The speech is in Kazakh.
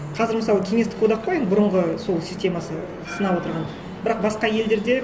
қазір мысалы кеңестік одақ қой енді бұрынғы сол системасы сынап отырған бірақ басқа елдерде